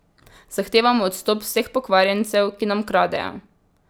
Zahtevamo odstop vseh pokvarjencev, ki nam kradejo.